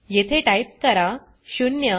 येथे टाइप करा 0